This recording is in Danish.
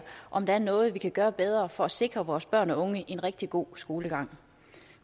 om der er noget vi kan gøre bedre for at sikre vores børn og unge en rigtig god skolegang